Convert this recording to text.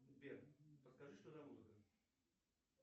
сбер подскажи что за музыка